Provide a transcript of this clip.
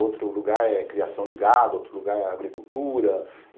Outro lugar é a criação de gado, outro lugar é a agricultura.